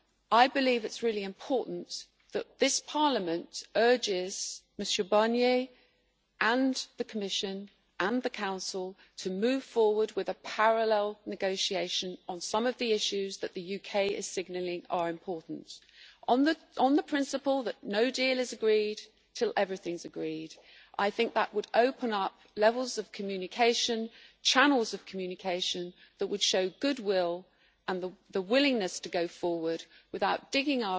It is really important that this Parliament urges Mr Barnier, the Commission and the Council to move forward with a parallel negotiation on some of the issues that the UK is signalling are important, on the principle that no deal is agreed until everything is agreed. That would open up channels of communication that would show goodwill and the willingness to go forward without digging